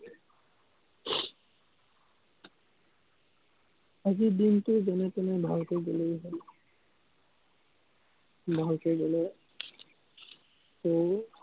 আজি দিনটো যেনেতেনে ভালকে গলেই হ'ল, ভালকে গ'লে। উম